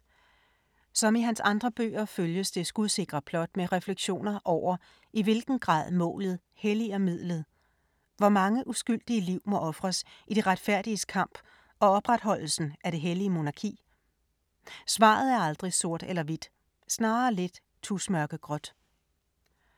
Som i hans andre bøger følges det skudsikre plot med refleksioner over, i hvilken grad målet helliger midlet. Hvor mange uskyldige liv må ofres i det retfærdiges kamp og opretholdelsen af det hellige monarki? Svaret er aldrig sort eller hvidt, snarere lidt tusmørkegråt.